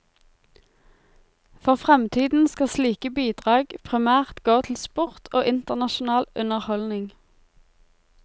For fremtiden skal slike bidrag primært gå til sport og internasjonal underholdning.